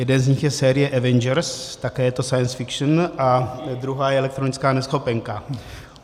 Jeden z nich je série Avengers, také je to science fiction, a druhá je elektronická neschopenka.